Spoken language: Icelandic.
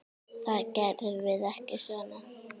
Það gerum við ekki svona.